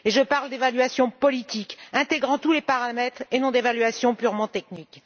Et je parle d'évaluation politique, intégrant tous les paramètres, et non d'évaluation purement technique.